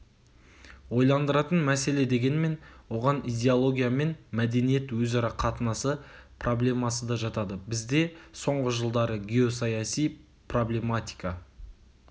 ойландыратын мәселе дегенмен оған идеология мен мәдениет өзара қатынасы проблемасы да жатады бізде соңғы жылдары геосаяси проблематика